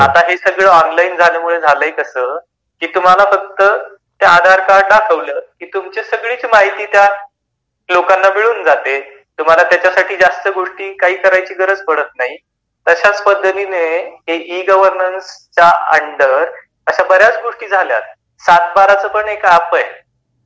आता हे सगळ ऑनलाइन झाल्यामूळ झालाय कस की तुम्हाला फ़क्त आधार कार्ड दाखवल की तुमची सगळी माहिती त्या लोकांना मिळून जाते तुम्हाला त्याच्यासाठी जास्ती गोष्टी काही करायची गरज पडत नाही तशाच पद्धतिनि इ-गवर्नन्स च्या अंडर बऱ्याच गोष्टी झाल्या. सात बारा च पण एक एप आहे.